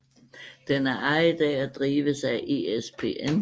Den er ejet af og drives af ESPN